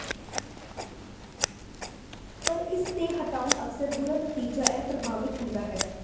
ਪਰ ਇਸ ਦੇ ਹਟਾਉਣ ਅਕਸਰ ਬੁਰਾ ਨਤੀਜਾ ਹੈ ਪ੍ਰਭਾਵਿਤ ਹੁੰਦਾ ਹੈ